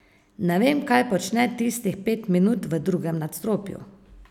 Ne vem, kaj počne tistih pet minut v drugem nadstropju.